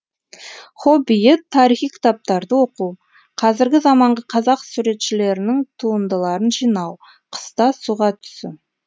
хоббиі тарихи кітаптарды оқу қазіргі заманғы қазақ суретшілерінің туындыларын жинау қыста суға түсу